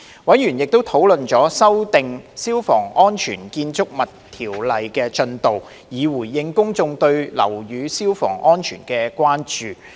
委員亦討論了修訂《消防安全條例》的進度，以回應公眾對樓宇消防安全的關注。